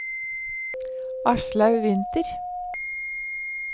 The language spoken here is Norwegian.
Aslaug Winther